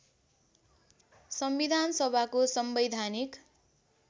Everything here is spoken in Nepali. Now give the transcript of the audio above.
संविधान सभाको संवैधानिक